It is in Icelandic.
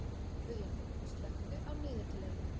Guðjón, slökktu á niðurteljaranum.